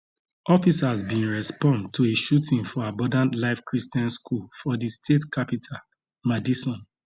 officers bin respond to a shooting for abundant life christian school for di state capital madison